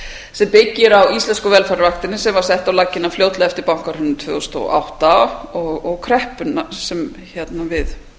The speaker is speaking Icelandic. sem byggir á íslensku velferðarvaktinni sem var sett á laggirnar fljótlega eftir bankahrunið tvö þúsund og átta og kreppuna sem